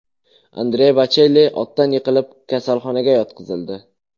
Andrea Bochelli otdan yiqilib, kasalxonaga yotqizildi.